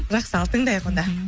жақсы ал тыңдайық онда